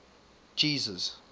jesus